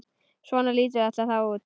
Svona lítur þetta þá út.